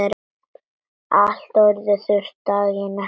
Allt orðið þurrt daginn eftir.